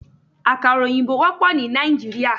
Àkàrà òyìnbó wópò ní Nàìjíríà